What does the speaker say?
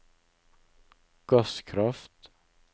gasskraft